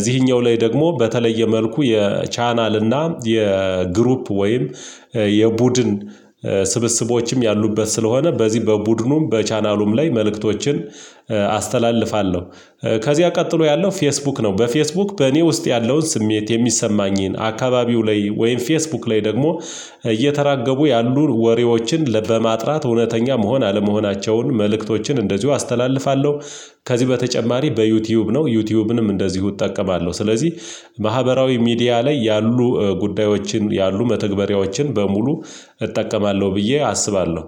እዚህኛው ላይ ደግሞ በተለየ መልኩ የቻናል እና የግሩፕ ወይም የቡድን ስብስቦችም ያሉበት ስለሆነ በዚህ በቡድኑም በቻናሉም ላይ መልእክቶችን አስተላልፋለሁ። ከዚያ ቀጥሎ ያለው ፌስቡክ ነው። በፌስቡክ በእኔ ውስጥ ያለውን ስሜት የሚሰማኝን አካባቢው ላይ ወይም ፌስቡክ ላይ ደግሞ እየተራገቡ ያሉ ወሬዎችን በማጥራት እውነተኛ መሆን አለመሆናቸውን መልእክቶችን እንደዚሁ አስተላልፋለሁ። ከዚህ በተጨማሪ በዩቲዩብ ነው ዩቲዩብንም እንደዚሁ እጠቀማለሁ። ስለዚህ ማህበራዊ ሚዲያ ላይ ያሉ ጉዳዮችን ያሉ መተግበሪያዎችን በሙሉ እጠቀማለሁ ብዬ አስባለሁ